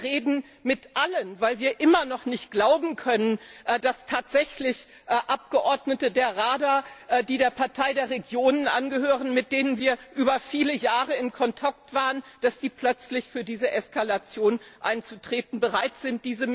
Wir reden mit allen, weil wir immer noch nicht glauben können, dass tatsächlich Abgeordnete der Rada, die der Partei der Regionen angehören, mit denen wir über viele Jahre in Kontakt waren, plötzlich für diese Eskalation einzutreten bereit sind.